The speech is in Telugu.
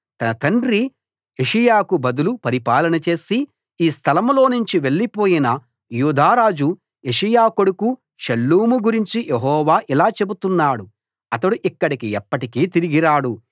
తన తండ్రి యోషీయాకు బదులు పరిపాలన చేసి ఈ స్థలంలోనుంచి వెళ్లిపోయిన యూదా రాజు యోషీయా కొడుకు షల్లూము గురించి యెహోవా ఇలా చెబుతున్నాడు అతడు ఇక్కడికి ఎప్పటికీ తిరిగి రాడు